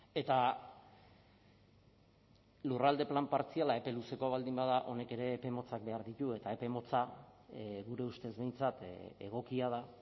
eta lurralde plan partziala epe luzeko baldin bada honek ere epe motzak behar ditu eta epe motza gure ustez behintzat egokia da